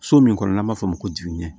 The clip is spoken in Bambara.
So min kɔnɔ n'an b'a f'o ma ko jiginɛ